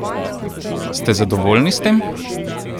Ste zadovoljni s tem?